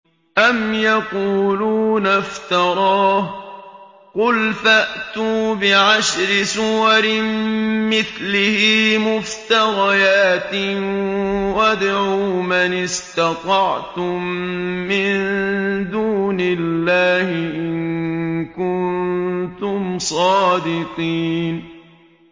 أَمْ يَقُولُونَ افْتَرَاهُ ۖ قُلْ فَأْتُوا بِعَشْرِ سُوَرٍ مِّثْلِهِ مُفْتَرَيَاتٍ وَادْعُوا مَنِ اسْتَطَعْتُم مِّن دُونِ اللَّهِ إِن كُنتُمْ صَادِقِينَ